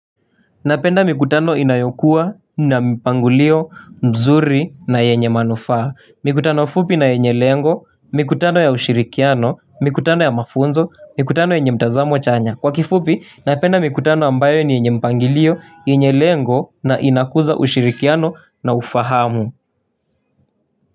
Napenda mikutano inayokuwa na mpangulio mzuri na yenye manufaa mikutano fupi na yenye lengo mikutano ya ushirikiano mikutano ya mafunzo mikutano yenye mtazamo chanya kwa kifupi napenda mikutano ambayo ni yenye mpangilio yenye lengo na inakuza ushirikiano na ufahamu.